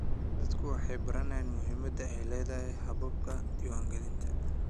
Dadku waxay baranayaan muhimadda ay leedahay hababka diiwaangelinta.